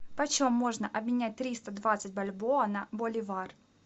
почем можно обменять триста двадцать бальбоа на боливар